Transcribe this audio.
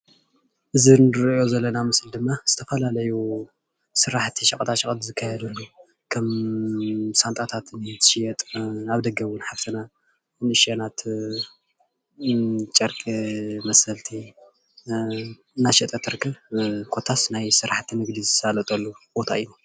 እዚ እንሪኦ ዘለና ምስሊ ድማ ዝተፈላለዩ ስራሕቲ ሸቀጣ ሸቀጥ ዝካየድሉ ከም ሻንጣታት እውን እንኤ ዝሽየጥ ኣብ ደገ እውን ሓፍትና ንእሽተይ ጨርቂ መሰልቲ እናሸጠት ትርከብ ኮታስ ናይ ስራሕቲ ንግዲ ዝሳለጠሉ ቦታ እዩ፡፡